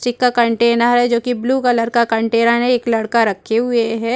चिका container है जो की ब्लू कलर का कंटेनर है एक लड़का रखे हुए है।